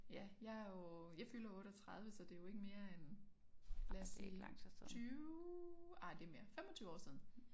Ja jeg er jo jeg fylder 38 så det jo ikke mere end lad os sige 20 ej det mere 25 år siden